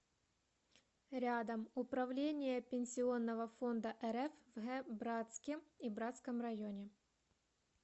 рядом управление пенсионного фонда рф в г братске и братском районе